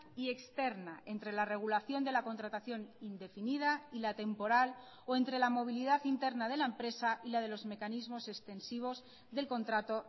y externa entre la regulación de la contratación indefinida y la temporal o entre la movilidad interna de la empresa y la de los mecanismos extensivos del contrato